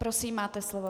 Prosím, máte slovo.